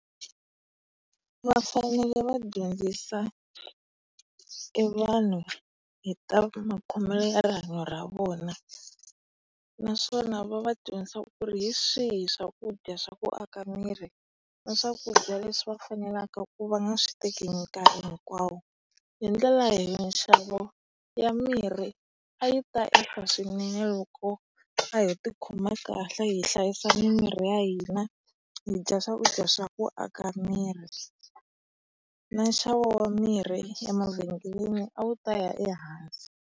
Va fanele va dyondzisa e vanhu hi ta makhomele ya rihanyo ra vona, naswona va va dyondzisa ku ri hi swihi swakudya swa ku aka miri na swakudya leswi va fanelaka ku va nga swi nkarhi hinkwawo. Hi ndlela nxavo ya mirhi a yi ta ehla swinene loko a ho tikhoma kahle hi hlayisa mimiri ya hina, hi dya swakudya swa ku aka miri. Na nxavo wa mirhi emavhengeleni a wu ta ya ehansi.